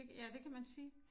Det ja det kan man sige